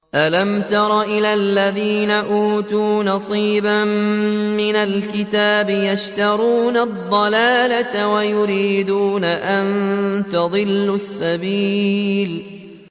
أَلَمْ تَرَ إِلَى الَّذِينَ أُوتُوا نَصِيبًا مِّنَ الْكِتَابِ يَشْتَرُونَ الضَّلَالَةَ وَيُرِيدُونَ أَن تَضِلُّوا السَّبِيلَ